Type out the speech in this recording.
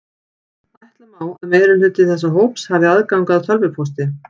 Ætla má að meirihluti þessa hóps hafi aðgang að tölvupósti.